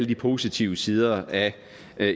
de positive sider af